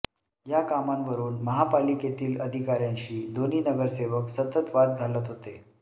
या कामांवरुन महापालिकेतील अधिकाऱ्यांशी दोन्ही नगरसेवक सतत वाद घालत होते